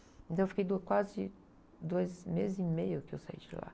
Então eu fiquei do, quase dois meses e meio que eu saí de lá.